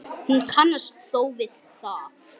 Hún kannast þó við það.